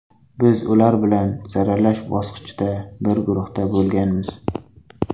Biz ular bilan saralash bosqichida bir guruhda bo‘lganmiz.